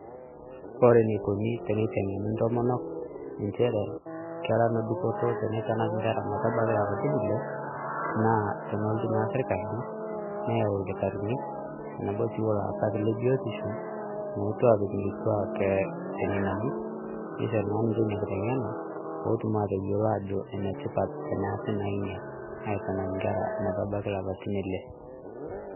Kore enikoni teneiteng'eni ntomonok nchere kera nedupoto teneitanak inkera metabaiki lapatin Ile, nÃ a tenelotu naa sirkali neyau lkitarini tenebo sii oolaasak le biotisho, mootu apik inkituaak ee seminani neishori naa ninche ina kiteng'ena peetum naa ateyiolo ajo enetipat tenesi naa inia, aitanak nkera metabaiki ilapatin Ile.